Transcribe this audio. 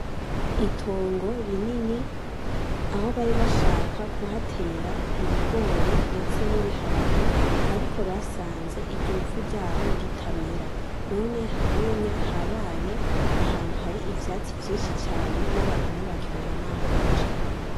Itongo rinini , Aho bari bashaka kuhatera ibigori ndetse n’ibiharage ariko basanze iryo vu ryaho ritamera none ubunya habaye ahantu hari ivyatsi vyinshi cane n’abantu ntibakironka n’aho baca.